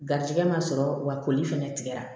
Garizigɛ ma sɔrɔ wa koli fɛnɛ tigɛra